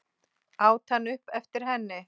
át hann upp eftir henni.